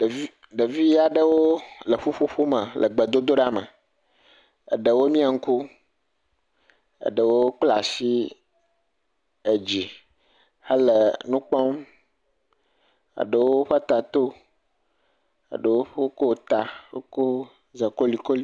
Ɖevi.. ɖevi aɖewo le ƒuƒoƒo me le gbedodoɖa me, eɖewo mia ŋku eɖewo kɔ asi dzi hele nu kpɔm eɖewo ƒe ta to eɖewo ƒlɔ zakolikoli.